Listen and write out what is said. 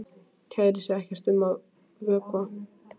Kærir sig ekkert um að vökna.